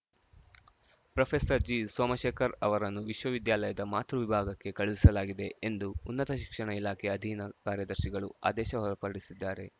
professor G Somashekar ಅವರನ್ನು ವಿಶ್ವವಿದ್ಯಾಲಯದ ಮಾತೃ ವಿಭಾಗಕ್ಕೆ ಕಳುಹಿಸಲಾಗಿದೆ ಎಂದು ಉನ್ನತ ಶಿಕ್ಷಣ ಇಲಾಖೆ ಅಧೀನ ಕಾರ್ಯದರ್ಶಿಗಳು ಆದೇಶ ಹೊರಡಿಸಿದ್ದಾರೆ